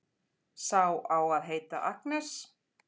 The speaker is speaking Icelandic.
Sá á að heita Agnes.